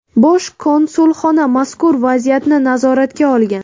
Bosh konsulxona mazkur vaziyatni nazoratga olgan.